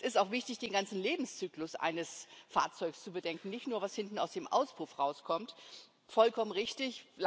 Es ist auch wichtig, den ganzen Lebenszyklus eines Fahrzeugs zu bedenken, nicht nur was hinten aus dem Auspuff herauskommt. Vollkommen richtig!